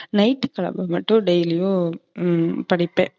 night மட்டும் daily யும் படிப்பேன்.